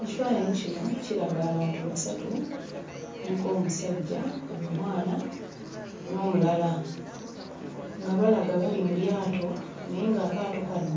Ekifaananyi kino kiraga abantu basatu kuliko omusajja, omwana n'omulala nga balaga bali mu lyato naye ng'akaato kano